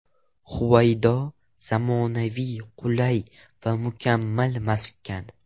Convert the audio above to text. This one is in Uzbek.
Huvaydo: Zamonaviy, qulay va mukammal maskan.